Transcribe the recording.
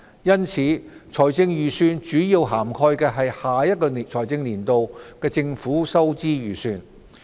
因此，財政預算主要涵蓋下一財政年度的政府收支預算。